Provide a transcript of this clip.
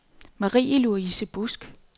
Marie-Louise Busk